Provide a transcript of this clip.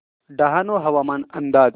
डहाणू हवामान अंदाज